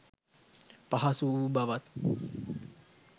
පහසු වූ බවත්